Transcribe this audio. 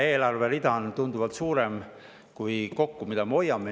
Üks eelarverida on tunduvalt suurem kui summa, mida me kokku hoiame.